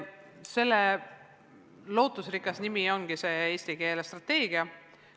Selle lootusrikas nimi ongi see eesti keele strateegia.